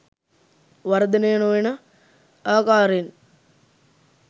වර්ධනය නොවන ආකාරයෙන්